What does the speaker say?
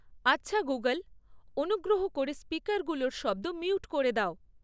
আচ্ছা গুগল্ অনুগ্রহ করে স্পিকারগুলোর শব্দ মিউট করে দাও